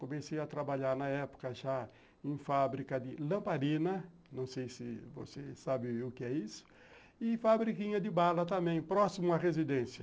Comecei a trabalhar na época já em fábrica de lamparina, não sei se você sabe o que é isso, e fabrica de bala também, próximo à residência.